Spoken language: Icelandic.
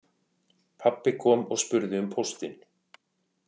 Pabbi kom og spurði um póstinn